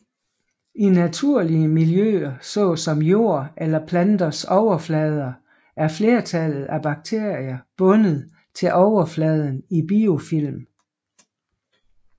I naturlige miljøer såsom jord eller planters overflader er flertallet af bakterier bundet til overfladen i biofilm